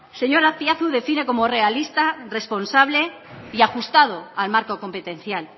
señor azpiazu define como realista responsable y ajustado al marco competencial